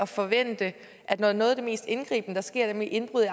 forventning når noget af det mest indgribende sker nemlig indbrud i